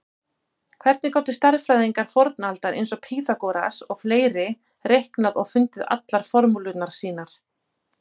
Hvernig gátu stærðfræðingar fornaldar eins og Pýþagóras og fleiri reiknað og fundið allar formúlurnar sínar?